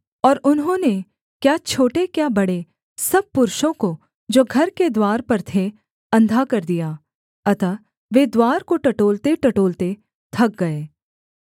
और उन्होंने क्या छोटे क्या बड़े सब पुरुषों को जो घर के द्वार पर थे अंधा कर दिया अतः वे द्वार को टटोलतेटटोलते थक गए